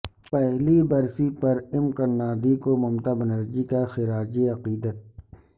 پہلی برسی پر ایم کرناندھی کو ممتا بنرجی کا خراج عقیدت